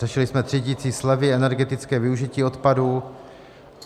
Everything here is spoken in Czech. Řešili jsme třídicí slevy, energetické využití odpadu.